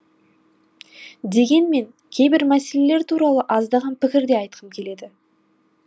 дегенмен кейбір мәселелер туралы аздаған пікір де айтқым келеді